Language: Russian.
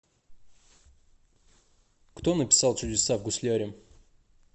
кто написал чудеса в гусляре